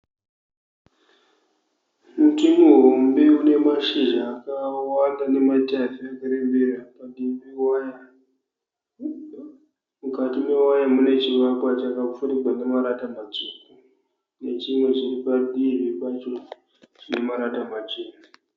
Muti muhombe unemashizha akawanda nematavi arikurembera padivi pewaya. Mukati mewaya mune chivakwa chakapfurigwa nemarata matsvuku nechimwe chiripadivi pacho chinemarata machena.